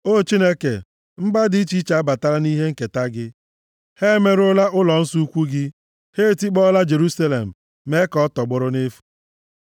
O Chineke, mba dị iche iche abatala nʼihe nketa gị; ha emerụọla ụlọnsọ ukwuu gị, ha etikpọọla Jerusalem, mee ka ọ tọgbọrọ nʼefu.